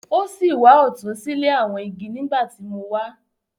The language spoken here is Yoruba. O si wà ọtun sile awọn igi nigbati mo wá.